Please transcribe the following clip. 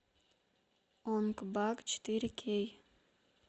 онг бак четыре кей